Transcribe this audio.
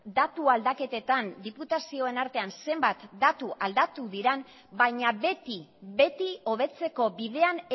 datu aldaketetan diputazioen artean zenbat datu aldatu diren baina beti beti hobetzeko bidean